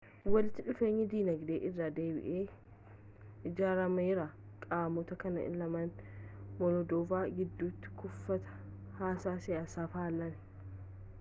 walitti dhufeenyi dinagdee irra deebiin ijaarameera qaamota kana lamaan moldoova gidduti kufatii haasaa siyaasa fallaan